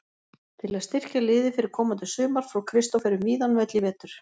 Til að styrkja liðið fyrir komandi sumar fór Kristófer um víðan völl í vetur.